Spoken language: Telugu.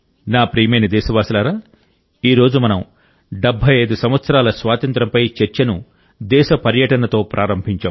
నా ప్రియమైన దేశవాసులారా ఈ రోజు మనం 75 సంవత్సరాల స్వాతంత్ర్యంపై చర్చను దేశ పర్యటనతో ప్రారంభించాం